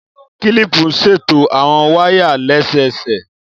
Kílìpù ń ṣètò àwon wáyà lẹ́sẹsẹ